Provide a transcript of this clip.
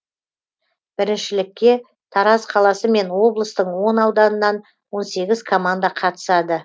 біріншілікке тараз қаласы мен облыстың он ауданынан он сегіз команда қатысады